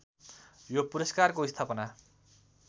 यो पुरस्कारको स्थापना